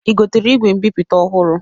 I gotere igwe mbipụta ọhụru?